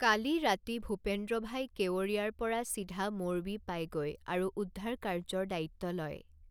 কালি ৰাতি ভূপেন্দ্ৰভাই কেৱড়িয়াৰ পৰা চিধা মোৰবি পায়গৈ আৰু উদ্ধাৰ কাৰ্যৰ দায়িত্ব লয়।